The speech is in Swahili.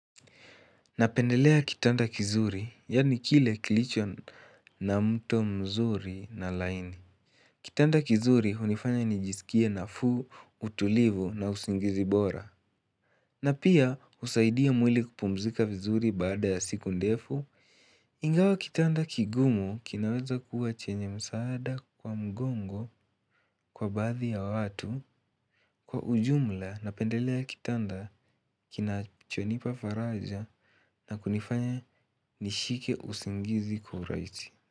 Napendelea kitanda kizuri, yaani kile kilicho na mto mzuri na laini. Kitanda kizuri hunifanya nijisikie nafuu, utulivu na usingizi bora. Na pia husaidia mwili kupumzika vizuri baada ya siku ndefu. Ingawa kitanda kigumu kinaweza kuwa chenye msaada kwa mgongo kwa baadhi ya watu. Kwa ujumla napendelea kitanda kinachonipa faraja na kunifanya nishike usingizi kwa uhurahisi.